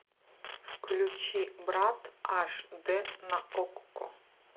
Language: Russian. включи брат аш д на окко